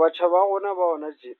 Batjha ba rona ba hona tje,